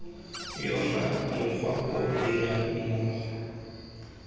yona mokgwa o dirang mmogo